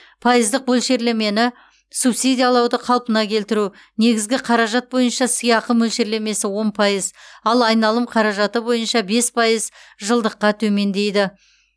пайыздық мөлшерлемені субсидиялауды қалпына келтіру негізгі қаражат бойынша сыйақы мөлшерлемесі он пайыз ал айналым қаражаты бойынша бес пайыз жылдыққа төмендейді